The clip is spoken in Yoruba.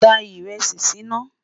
dá írèsì sí nà